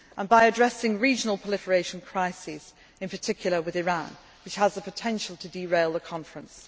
and by addressing regional proliferation crises, in particular with Iran, which has the potential to derail the conference.